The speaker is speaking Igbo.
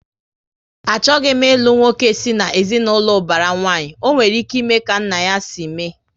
Achọghị m ilu nwoke si na ezinaụlọ ubara nwanyi, ọ nwere ike ime ka nna ya si mee